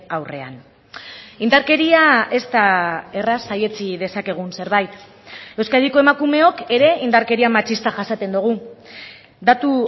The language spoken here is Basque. aurrean indarkeria ez da erraz saihetsi dezakegun zerbait euskadiko emakumeok ere indarkeria matxista jasaten dugu datu